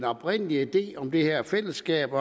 oprindelige idé om det her fællesskab